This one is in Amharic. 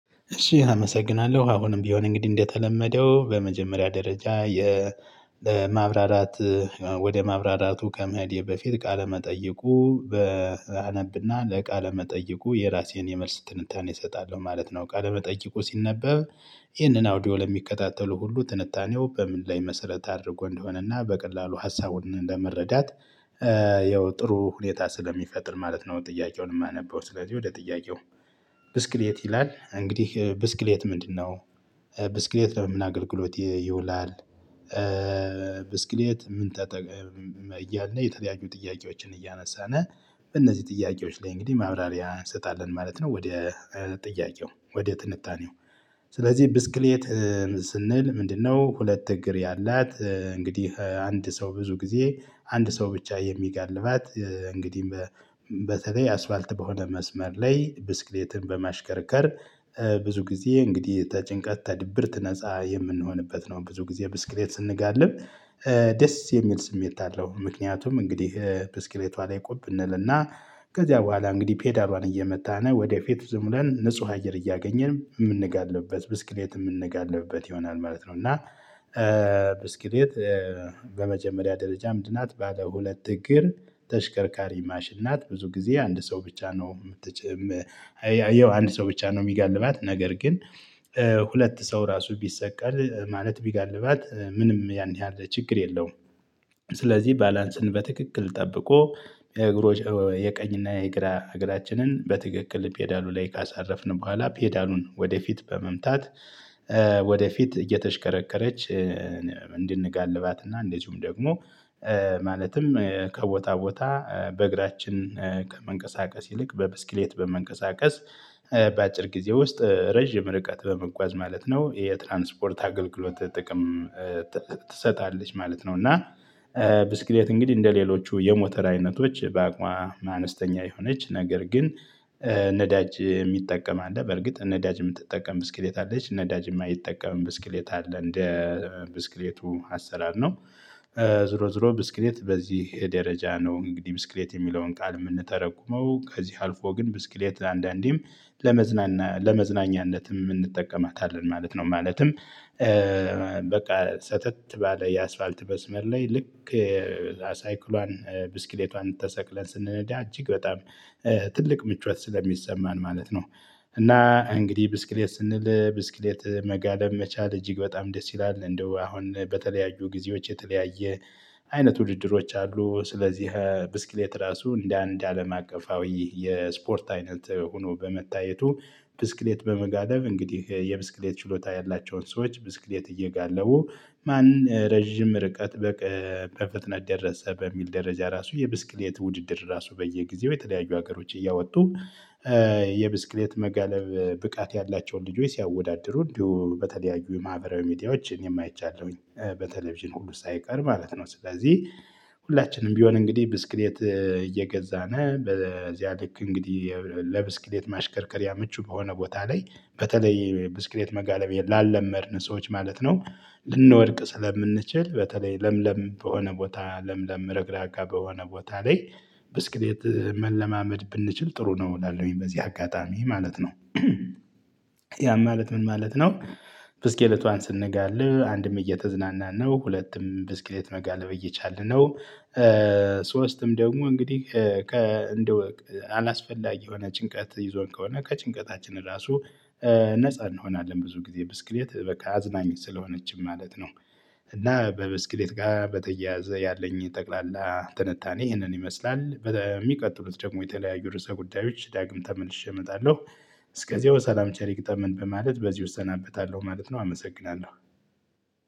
እሺ አመሰግናለሁ አሁንም ቢሆን እንግዲህ እንደተለመደው በመጀመሪያ ደረጃ የ ማብራራት ወደ ማብራራቱ ከመሄዴ በፊት ቃለ መጠየቁ በ አነብና ለቃለ መጠየቁ የራሴን የመልስ ትንታኔ እሰጣለሁ ማለት ነው። ቃለ መጠይቁ ሲነበብ ይህንን አውዲዮ ለሚከታተሉ ሁሉ ትንታኔው በምን ላይ መሰረት አድርጎ እንደሆነና በቀላሉ ሀሳቡን ለመረዳት ያው ጥሩ ሁኔታ ስለሚፈጥር ማለት ነው። ጥያቄውን የማነበው ስለዚህ ወደ ጥያቄው ብስክሌት ይላል እንግዲህ ብስክሌት ምንድነው? ብስክሌት ለምን አገልግሎት ይውላል? ብስክሌት ምን እያለ የተለያዩ ጥያቄዎችን እያነሳን እነዚህ ጥያቄዎች ላይ እንግዲህ ማብራሪያ እንሰጣለን ማለት ነው። ወደ ጥያቄው ወደ ትንታኔው ስለዚህ ብስክሌት ስንል ምንድነው? ሁለት እግር ያላት እንግዲህ አንድ ሰው ብዙ ጊዜ አንድ ሰው ብቻ የሚጋልባት እንግዲህ በተለይ አስፋልት በሆነ መስመር ላይ ብስክሌትን በማሽከርከር ብዙ ጊዜ እንግዲህ ተጭንቀት ተድብርት ነፃ የምንሆንበት ነው። ብዙ ጊዜ ብስክሌት ስንጋልብ ደስ የሚል ስሜት አለው። ምክንያቱም እንግዲህ ብስክሌቷ ላይ ቁብ እንልና ከዚያ በኋላ እንግዲህ ፔዳሏን እየመታን ወደፊት ዝም ብለን ንጹህ አየር እያገኘን የምንጋልብበት ብስክሌት የምንጋልብበት ይሆናል ማለት ነው። እና ብስክሌት በመጀመሪያ ደረጃ ምንድናት? ባለ ሁለት እግር ተሽከርካሪ ማሽን ናት ብዙ ጊዜ አንድ ሰው ብቻ ነው የምትጨምር ያው አንድ ሰው ብቻ ነው የሚገልባት። ነገር ግን ሁለት ሰው ራሱ ቢሰቀል ማለት ቢጋልባት ምንም ያን ያህል ችግር የለውም። ስለዚህ ባላንስን በትክክል ጠብቆ የእግሮች የቀኝና የግራ እግራችንን በትክክል ፔዳሉ ላይ ካሳረፍን በኋላ ፔዳሉን ወደፊት በመምታት ወደፊት እየተሽከረከረች እንድንጋልባት እና እንደዚሁም ደግሞ ማለትም ከቦታ ቦታ በእግራችን ከመንቀሳቀስ ይልቅ በብስክሌት በመንቀሳቀስ በአጭር ጊዜ ውስጥ ረጅም ርቀት በመጓዝ ማለት ነው። ይሄ የትራንስፖርት አገልግሎት ጥቅም ትሰጣለች ማለት ነው። እና ብስክሌት እንግዲህ እንደሌሎቹ የሞተር አይነቶች በአቋም አነስተኛ የሆነች ነገር ግን ነዳጅ የሚጠቀም አለ። በርግጥ ነዳጅ የምትጠቀም ብስክሌት አለች። ነዳጅ የማይጠቀም ብስክሌት አለ። እንደ ብስክሌቱ አሰራር ነው። ዞሮ ዞሮ ብስክሌት በዚህ ደረጃ ነው። እንግዲህ ብስክሌት የሚለውን ቃል የምንተረጉመው ከዚህ አልፎ ግን ብስክሌት አንዳንዴም ለመዝናናት ለመዝናኛነትም እንጠቀማታለን ማለት ነው። ማለትም በቃ ሰተት ባለ የአስፋልት መስመር ላይ ልክ ሳይክሏን ብስክሌቷን ተሰቅለን ስንነዳ እጅግ በጣም ትልቅ ምቾት ስለሚሰማን ማለት ነው። እና እንግዲህ ብስክሌት ስንል ብስክሌት መጋለብ መቻል እጅግ በጣም ደስ ይላል። እንደው አሁን በተለያዩ ጊዜዎች የተለያየ አይነት ውድድሮች አሉ ስለዚህ ብስክሌት ራሱ እንደ አንድ አለም አቀፋዊ የስፖርት አይነት ሆኖ በመታየቱ ብስክሌት በመጋለብ እንግዲህ የብስክሌት ችሎታ ያላቸውን ሰዎች ብስክሌት እየጋለቡ ማን ረጅም ርቀት በፍጥነት ደረሰ በሚል ደረጃ ራሱ የብስክሌት ውድድር ራሱ በየጊዜው የተለያዩ ሀገሮች እያወጡ የብስክሌት መጋለብ ብቃት ያላቸውን ልጆች ሲያወዳድሩ እንዲሁ በተለያዩ የማህበራዊ ሚዲያዎች አኔም አይቻለሁኝ በቴሌቪዥን ሁሉ ሳይቀር ማለት ነው። ስለዚህ ሁላችንም ቢሆን እንግዲህ ብስክሌት እየገዛነ በዚያ ልክ እንግዲህ ለብስክሌት ማሽከርከሪያ ምቹ በሆነ ቦታ ላይ በተለይ ብስክሌት መጋለብ ላለመድን ሰዎች ማለት ነው። ልንወድቅ ስለምንችል በተለይ ለምለም በሆነ ቦታ ለምለም ረግራጋ በሆነ ቦታ ላይ ብስክሌት መለማመድ ብንችል ጥሩ ነው። እላለሁኝ በዚህ አጋጣሚ ማለት ነው። ያ ማለት ምን ማለት ነው? ብስክሌቷን ስንጋልብ አንድም እየተዝናናን ነው። ሁለትም ብስክሌት መጋለብ እየቻልን ነው። ሶስትም ደግሞ እንግዲህ ከእንደው አላስፈላጊ የሆነ ጭንቀት ይዞን ከሆነ ከጭንቀታችን ራሱ ነፃ እንሆናለን። ብዙ ጊዜ ብስክሌት በቃ አዝናኝ ስለሆነችም ማለት ነው። እና በብስክሌት ጋር በተያያዘ ያለኝ ጠቅላላ ትንታኔ ይህንን ይመስላል። በሚቀጥሉት ደግሞ የተለያዩ ርዕሰ ጉዳዮች ዳግም ተመልሼ እመጣለሁ። እስከዚያው ሰላም ቸር ይግጠመን በማለት በዚሁ እሰናበታለሁ ማለት ነው። አመሰግናለሁ